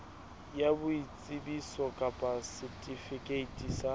ya boitsebiso kapa setifikeiti sa